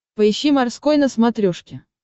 поищи морской на смотрешке